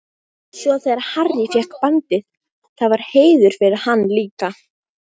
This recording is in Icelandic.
Svo þegar Harry fékk bandið, það var heiður fyrir hann líka.